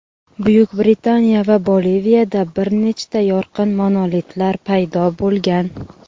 Buyuk Britaniya va Boliviyada bir nechta yorqin monolitlar paydo bo‘lgan.